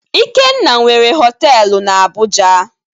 Ikenna nwere họtelu na Abuja.